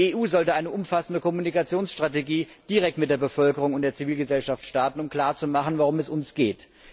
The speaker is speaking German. Die EU sollte eine umfassende Kommunikationsstrategie direkt mit der Bevölkerung und der Zivilgesellschaft starten, um klarzumachen, worum es uns geht.